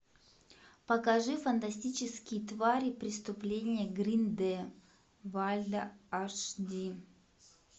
покажи фантастические твари преступления грин де вальда аш ди